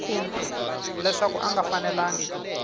leswaku a nga fanelangi ku